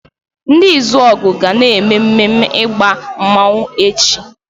Ndi Izuogu ga na-mmemme ịgba mmanwu echi.